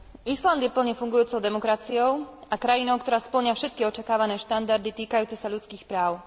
Island je plne fungujúcou demokraciou a krajinou, ktorá spĺňa všetky očakávané štandardy týkajúce sa ľudských práv.